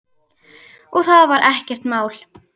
Og það var ekkert mál.